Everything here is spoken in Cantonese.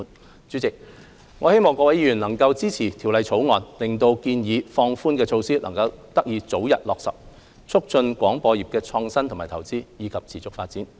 代理主席，我希望各位議員能夠支持《條例草案》，令建議的放寬措施得以早日落實，促進廣播業創新和投資，以及持續發展。